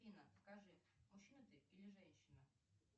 афина скажи мужчина ты или женщина